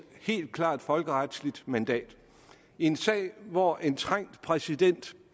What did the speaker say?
helt klart folkeretsligt mandat i en sag hvor en trængt præsident